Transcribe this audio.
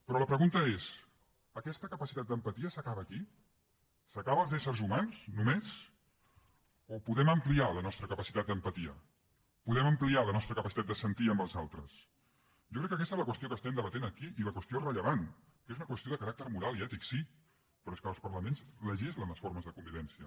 però la pregunta és aquesta capacitat d’empatia s’acaba aquí s’acaba als éssers humans només o podem ampliar la nostra capacitat d’empatia podem ampliar la nostra capacitat de sentir amb els altres jo crec que aquesta és la qüestió que estem debatent aquí i la qüestió rellevant que és una qüestió de caràcter moral i ètic sí però és que els parlaments legislen les formes de convivència